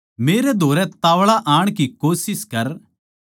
मेरै धोरै ताव्ळा आण की कोशिश कर